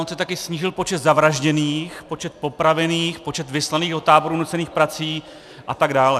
On se taky snížil počet zavražděných, počet popravených, počet vyslaných do táborů nucených prací a tak dále.